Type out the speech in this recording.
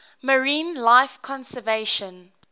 marine life conservation